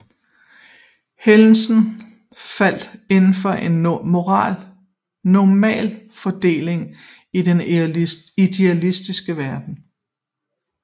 Hændelser falder indenfor en Normalfordeling i den idealiserede verden